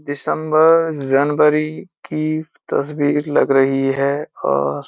दिसम्बर जनवारी की तस्वीर लग रही है और --